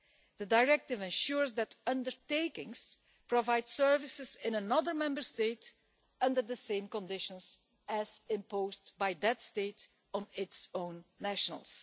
The Directive ensures that undertakings provide services in another Member State under the same conditions as imposed by that state on its own nationals.